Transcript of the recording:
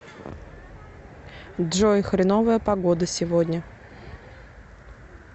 джой хреновая погода сегодня